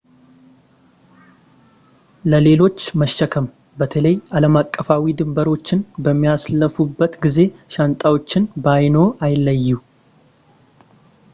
ለሌሎች መሸከም በተለይ ዓለምአቀፋዊ ድንበሮችን በሚያልፉበት ጊዜ ሻንጣዎችዎን ከዓይንዎ አይለዩ